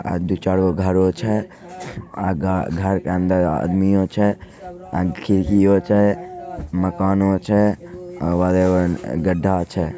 अ आयादुचारों घरो छई । अ.. घर घरो के अंदर आदमी आ छई । आंकी कीओ छई मकानो छई आवावेरण घड़ा छई ।